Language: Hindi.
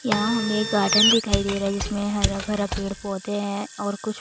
यहाँ हमें एक गार्डन दिखाई दे रहा है जिसमें हरा भरा पेड़-पौधे हैं और कुछ--